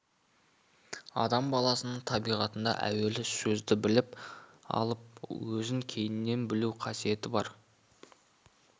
адам баласының табиғатында әуелі сөзді біліп алып өзін кейіннен білу қасиеті бар